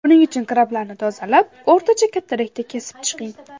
Buning uchun krablarni tozalab, o‘rtacha kattalikda kesib chiqing.